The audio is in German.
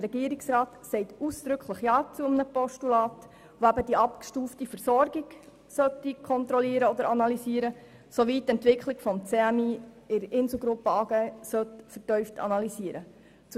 Der Regierungsrat sagt ausdrücklich ja zu einem Postulat, welches die abgestufte Versorgung analysieren und kontrollieren, sowie die Entwicklung des CMI in der Insel gruppe AG vertieft analysieren soll.